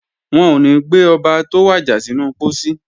Wọn ò ní gbé Ọba tó wàjà sínú pósí